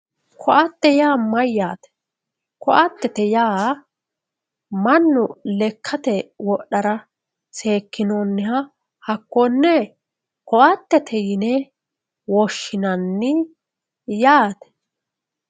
ko'ate yaa mayyate ko'atete yaa mannu lekkate wodhara seekkinoonniha hakkonne ko'atete yine woshshinanni yaate